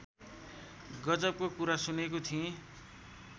गजबको कुरा सुनेको थिएँ